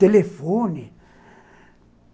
Telefone.